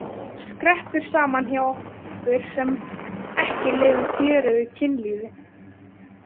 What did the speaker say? Hún skreppur saman hjá okkur sem ekki lifum fjörugu kynlífi.